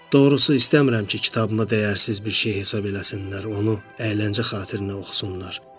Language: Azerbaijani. Doğrusu, istəmirəm ki, kitabımı dəyərsiz bir şey hesab eləsinlər, onu əyləncə xatirinə oxusunlar.